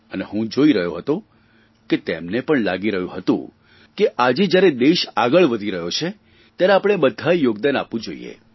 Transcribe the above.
અને હું જોઇ રહ્યો હતો કે તેમને પણ લાગી રહ્યું હતું કે આજે જયારે દેશ આગળ વધી રહ્યો છે ત્યારે આપણે બધાંએ યોગદાન આપવું જોઇએ